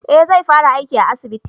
Eh zai fara aiki a asibiti